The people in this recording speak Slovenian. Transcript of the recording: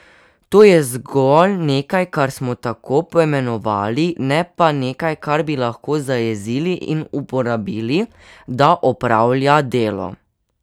To je zgolj nekaj, kar smo tako poimenovali, ne pa nekaj, kar bi lahko zajezili in uporabili, da opravlja delo.